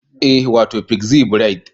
Ee, wato pixie braid